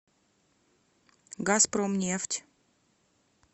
газпромнефть